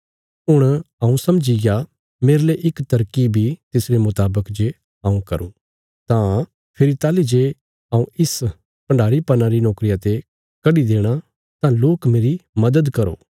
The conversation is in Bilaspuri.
हुण हऊँ समझीग्या मेरले इक तरकीव इ तिसरे मुतावक जे हऊँ करूँ तां फेरी ताहली जे हऊँ इस भण्डारीपना री नोकरिया ते कड्डी देणा तां लोक मेरी मदद करो